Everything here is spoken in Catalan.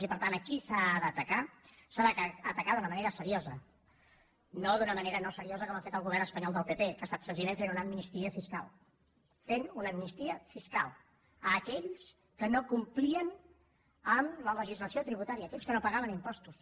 i per tant aquí s’ha d’atacar s’ha d’atacar d’una manera seriosa no d’una manera no seriosa com ha fet el govern espanyol del pp que ha estat senzillament fent una amnistia fiscal fent una amnistia fiscal a aquells que no complien amb la legislació tributària a aquells que no pagaven impostos